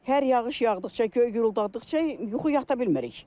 Hər yağış yağdıqca, göy gurultadıqca yuxu yata bilmirik.